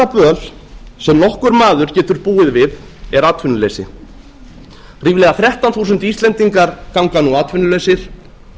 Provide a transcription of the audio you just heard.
böl sem nokkur maður getur búið við er atvinnuleysi ríflega þrettán þúsund íslendingar ganga nú atvinnulausir